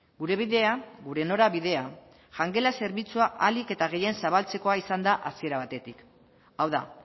gure bidea gure norabidea jangela zerbitzua ahalik eta gehien zabaltzekoa izan da hasiera batetik hau da